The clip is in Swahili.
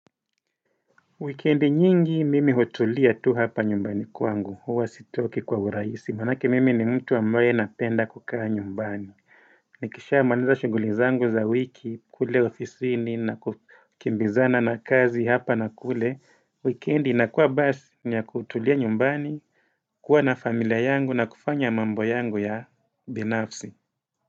Weekendi nyingi mimi hutulia tu hapa nyumbani kwangu, huwa sitoki kwa urahisi, manake mimi ni mtu ambaye napenda kukaa nyumbani. Nikishamaliza shughuli zangu za wiki, kule ofisini na kukimbizana na kazi hapa na kule. Weekendi inakuwa basi ni ya kutulia nyumbani, kuwa na familia yangu na kufanya mambo yangu ya binafsi.